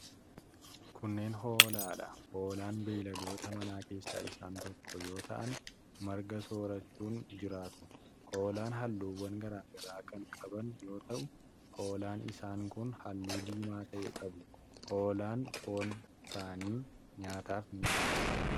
Kunneen hoolaa dha. Hoolaan beeyiladoota manaa keessaa isaan tokko yoo ta'an, marga soorachuun jiraatu. Hoolaan halluuwwan garaa garaa kan qaban yoo ta'u, hoolaan isaan kun halluu diimaa ta'e qabu. Hoolaan foon isaanii nyaataaf ni oola.